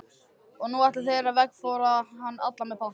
Og nú ætluðu þeir að veggfóðra hann allan með pappa.